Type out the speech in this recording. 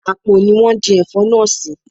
Àpò ni wón di Ẹ̀fọ́ náà sì.